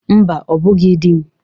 Mba, ọ bụghị di m.